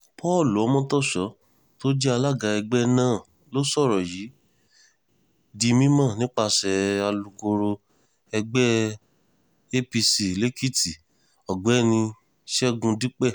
paul omotoso tó jẹ́ alága ẹgbẹ́ náà ló sọ̀rọ̀ yìí di mímọ́ nípasẹ̀ alūkkoro ẹgbẹ́ apc lèkìtì ọ̀gbẹ́ni ṣẹ́gun dípẹ́